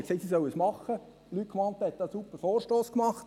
Luc Mentha hat einen Super-Vorstoss gemacht.